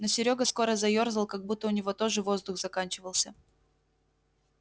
но серёга скоро заёрзал как будто у него тоже воздух заканчивался